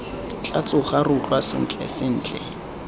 tla tsoga re utlwa sentlentle